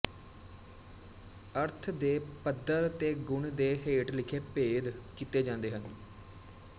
ਅਰਥ ਦੇ ਪੱਧਰ ਤੇ ਗੁਣ ਦੇ ਹੇਠ ਲਿਖੇ ਭੇਦ ਕੀਤੇ ਜਾਂਦੇ ਹਨ